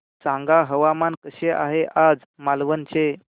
सांगा हवामान कसे आहे आज मालवण चे